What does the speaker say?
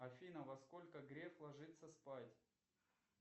афина во сколько греф ложится спать